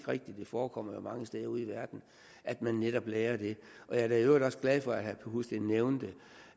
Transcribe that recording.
rigtigt det forekommer jo mange steder ude i verden at man netop lagrer det jeg er da i øvrigt også glad for at herre husted nævnte